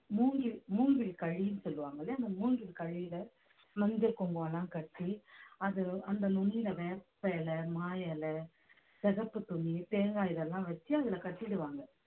மூங்கில் மூங்கில் களின்னு சொல்லுவாங்கல்ல அந்த மூங்கில் களியில மஞ்சள் குங்குமம் எல்லாம் கட்டி அது அந்த நுண்ணில வேப்பிலை மா இலை சிகப்பு துணி தேங்காய் இதெல்லாம் வச்சு அதுல கட்டிடுவாங்க